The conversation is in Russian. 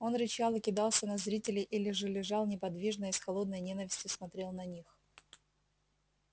он рычал и кидался на зрителей или же лежал неподвижно и с холодной ненавистью смотрел на них